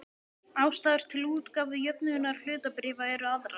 Ástæður til útgáfu jöfnunarhlutabréfa eru aðrar.